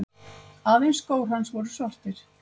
Aðeins skór hans voru svartir.